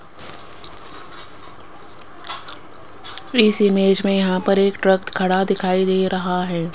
इस इमेज में यहां पर एक ट्रक खड़ा दिखाई दे रहा है।